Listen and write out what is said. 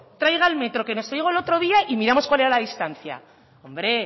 traiga el metro que nos trajo el otro día y miramos cuál era la distancia hombre